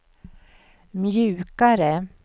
mjukare